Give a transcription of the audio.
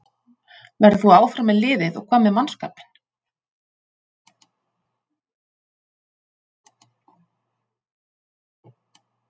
Verður þú áfram með liðið og hvað með mannskapinn?